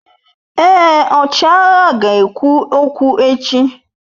Èé, ọchịagha ga-ekwu okwu echi.